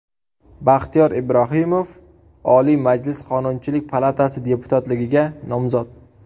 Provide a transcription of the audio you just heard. Baxtiyor Ibrohimov, Oliy Majlis Qonunchilik palatasi deputatligiga nomzod .